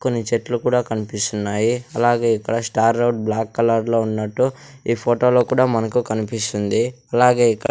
కొన్ని చెట్లు కూడా కనిపిస్తున్నాయి అలాగే ఇక్కడ స్టార్ రోడ్ బ్లాక్ కలర్ లో ఉన్నట్టు ఈ ఫోటోలో కూడా మనకు కనిపిస్తుంది అలాగే ఇక్క--